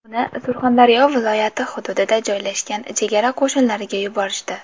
Uni Surxondaryo viloyati hududida joylashgan chegara qo‘shinlariga yuborishdi.